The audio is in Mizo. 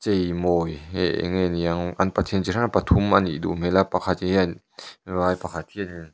hee hei eng nge niang an pathian chi hrang hrang pathum anih duh hmel a pakhat hian vai pakhat hianin --